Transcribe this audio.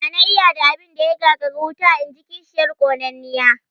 "Ya na iya da abin da ya gagari wuta?", inji kishiyar ƙonanniya